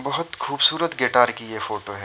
बहुत खूबसूरत गिटार की ये फोटो है।